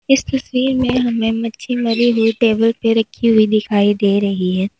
इस तस्वीर में हमें मच्छी मरी हुई टेबल पे रखी हुई दिखाई दे रही है।